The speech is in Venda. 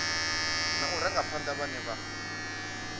na u rangaphana vhane vha